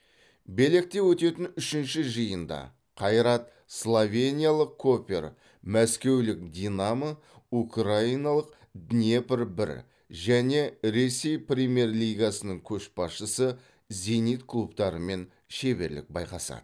белекте өтетін үшінші жиында қайрат словениялық копер мәскеулік динамо украиналық днепр бір және ресей премьер лигасының көшбасшысы зенит клубтарымен шеберлік байқасады